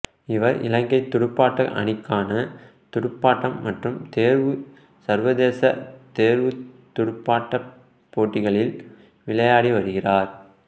இவர் இலங்கைத் துடுப்பாட்ட அணிக்காக துடுப்பாட்டம் மற்றும் தேர்வுத் சர்வதேச தேர்வுத் துடுப்பாட்டப் போட்டிகளில் விளையாடி வருகிறார்